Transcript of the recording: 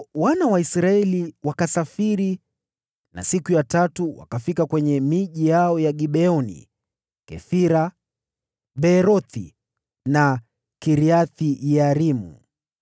Ndipo wana wa Israeli wakasafiri na siku ya tatu wakafika kwenye miji yao ya Gibeoni, Kefira, Beerothi na Kiriath-Yearimu.